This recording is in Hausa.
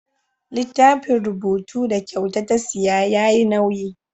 Littafin rubutu da kyauta ta siya yayi nauyi.